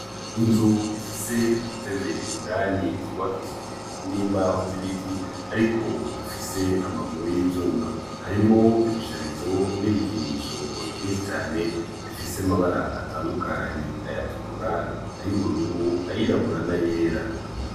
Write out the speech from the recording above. Inzu ifise udutebe indani twubakishije n'imbaho z'ibiti ariko dufise amaguru y'ivyuma. Harimwo ibisharizo n'ibikinisho vyinshi cane bifise amabara atandukanye, ayatukura, ayubururu, ayirabura nayera.